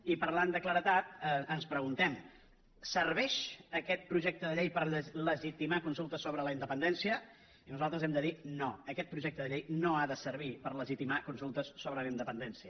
i parlant de claredat ens preguntem serveix aquest projecte de llei per legitimar consultes sobre la independència i nosaltres hem de dir no aquest projecte de llei no ha de servir per legitimar consultes sobre la independència